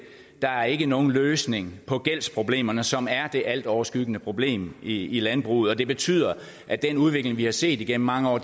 der er ikke nogen løsning på gældsproblemerne som er det altoverskyggende problem i landbruget og betyder at den udvikling vi har set gennem mange år